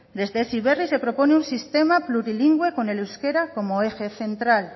desde heziberri se propone un sistema plurilingüe con el euskera como eje central